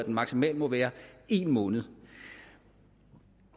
maksimalt må være en måned